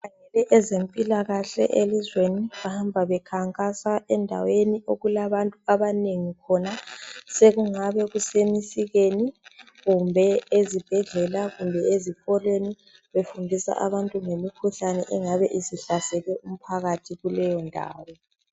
Ezempilakahle elizweni bahamba bekhankasa endaweni okulabantu abanengi khona. Sekungabe kusemisikeni kumbe ezibhedlela kumbe ezikolweni befundisa abantu ngemikhuhlane engabe isihlasele umphakathi kuleyo ndawo.